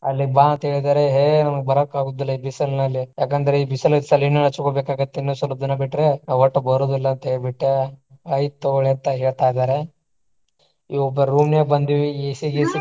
ಅಲ್ಲಿಗ್ ಬಾ ಅಂತ ಹೇಳಿದಾರೆ ಹೇ ನಂಗ್ ಬರಾಕ್ ಆಗುದಿಲ್ಲಾ ಈ ಬಿಸಲ್ನಿನಲ್ಲಿ ಯಾಕ್ ಅಂದರೆ ಈ ಇನ್ನೂ ಸ್ವಲ್ಪ ದಿನ ಬಿಟ್ರ ಅವಟ ಬರೋದಿಲ್ಲ ಅಂತ ಹೇಳ್ಬಿಟ್ಟ ಆಯ್ತ ತುಗೊಳಿ ಅಂತಾ ಹೇಳ್ತಾ ಇದಾರ room ನಾಗ್ ಬಂದಿವಿ AC ಗಿಸಿ ಚಾಲೊ.